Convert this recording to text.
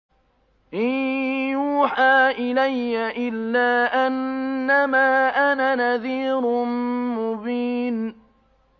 إِن يُوحَىٰ إِلَيَّ إِلَّا أَنَّمَا أَنَا نَذِيرٌ مُّبِينٌ